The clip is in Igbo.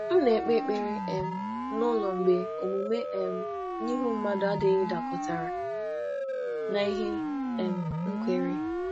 M na-ekpe M na-ekpe ekpere n’ụlọ mgbe omume n’ihu mmadụ adịghị dakọtara na ihe m kweere.